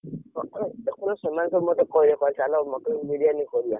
ଏଥର ସେମାନେ ସବୁ ମତେ କହିଲେ ଚାଲ mutton ବିରିୟାନି କରିବା।